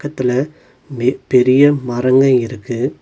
இதுல மெ பெரிய மரங்க இருக்கு.